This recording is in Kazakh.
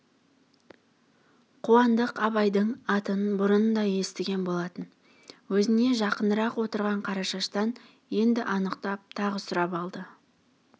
қуандық абайдың атын бұрын да естіген болатын өзіне жақынырақ отырған қарашаштан енді анықтап тағы сұрап алды